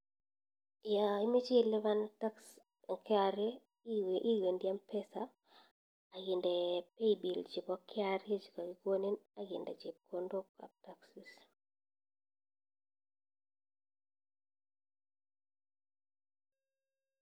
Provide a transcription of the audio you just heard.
Ya imache ilipan tax en KRA iwendi mpesa akinde paybill chebo KRA chekakikonin akinde chepkondok ab taxes.